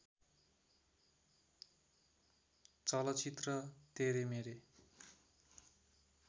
चलचित्र तेरे मेरे